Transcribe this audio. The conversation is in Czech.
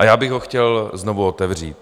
A já bych ho chtěl znovu otevřít.